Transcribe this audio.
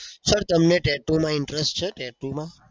sir તમને tattoo માં interest છે? tattoo માં